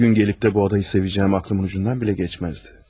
Bir gün gəlib də bu adayı sevəcəyim ağlımın ucundan belə keçməzdi.